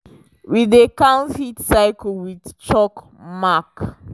we dey count heat cylce with chalk mark